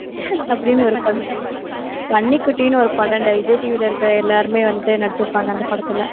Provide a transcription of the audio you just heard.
அப்படின்னு பன்னிக்குட்டின்னு ஒரு படம்டா, விஜய் TV ல இருக்குற எல்லாருமே வந்துட்டு நடிச்சிருப்பாங்க அந்த படத்துல.